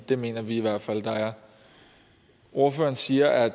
det mener vi i hvert fald at der er ordføreren siger at